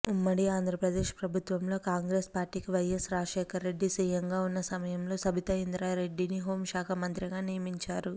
ఉమ్మడి ఆంధ్రప్రదేశ్ ప్రభుత్వంలో కాంగ్రెస్పార్టీకి వైఎస్ రాజశేఖర్రెడ్డి సిఎంగా ఉన్న సమయంలో సబితాఇంద్రారెడ్డిని హోంశాఖమంత్రిగా నియమించారు